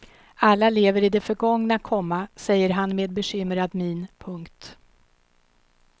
Alla lever i det förgångna, komma säger han med bekymrad min. punkt